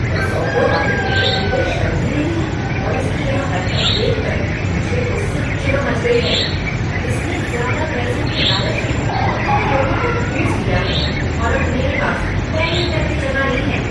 इस ऑटो वाले को तो बिलकुल ही शर्म नहीं है और इसकी यह हरकत देखकर मुझे तो इससे चिढ़ मच गई है, इसने ज़्यादा पैसों के लालच में ऑटो में लोगों को ठूंस लिया है और अब मेरे पास बैठने तक की जगह नहीं है।